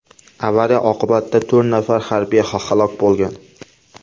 Avariya oqibatida to‘rt nafar harbiy halok bo‘lgan.